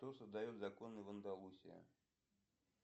кто создает законы в андалусии